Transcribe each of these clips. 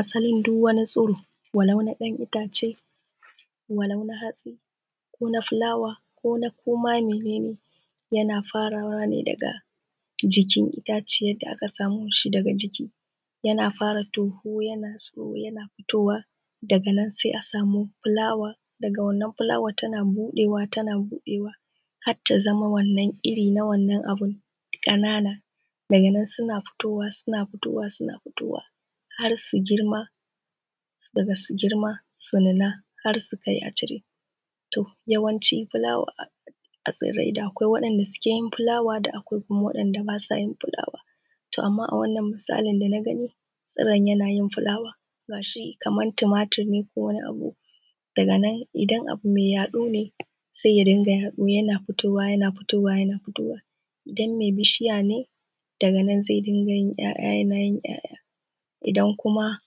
Asalin duk wani tsiro walau na ɗan itace, walau na hatsi ko na fulawa ko na ko ma mene ne. Yana farawa daga jikin itaciyar da aka samo shi daga ciki, yana fara tohu yana fitowa daga nan sai a samo fulawa daga wannan fulawar tana buɗewa tana buɗewa har ta zama wannan iri na wannan abu ƙanana. Daga nan suna fitowa suna fitowa har su girma, daga su girma su nuna har su kai a cire Yawanci fulawa tsarai da akwai waɗanda suke suke yi fulawa da akwai waɗanda ba su yin fulawa. To amma a wannan misalin da na gani, tsiron yana yin fulawa. Ga shi kamar tumatur ne ko wani abu, daga nan idan abu mai yaɗo ne sai ya dinga yaɗu yana fitowa yana fitowa, idan mai bishiya ne ,to daga nan zai yi bishiya yana 'ya'yan. Idan kuma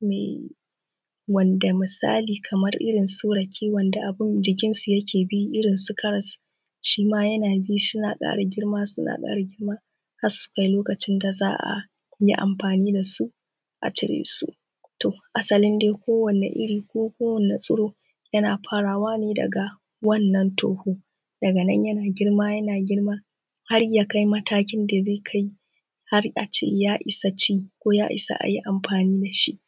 mai wanda misali kamar irin su rake wanda jikinsu yake bi irin su karass shima yana bi yana ƙara girma ya ƙara girma har sunkai lokaci da za ayi amfani da su a cire su. Asalin dai kowane iri ko kowane tsiro yana farawa ne daga wannan toho daga nan yana girma yana girma har ya kaia matanakin da zai kai a ce ya isa ci za a yi amfani da shi